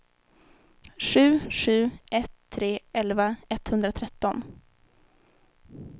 sju sju ett tre elva etthundratretton